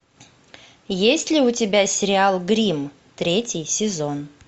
есть ли у тебя сериал гримм третий сезон